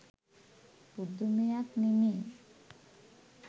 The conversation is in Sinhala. පුදුමයක් නෙමෙයි.